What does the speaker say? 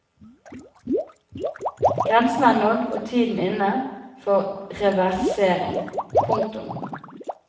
Grensen er nådd og tiden inne for reversering. punktum